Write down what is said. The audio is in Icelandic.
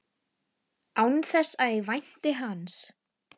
Án þess að ég vænti hans.